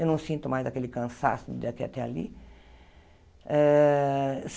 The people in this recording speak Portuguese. Eu não sinto mais aquele cansaço daqui até até ali. Eh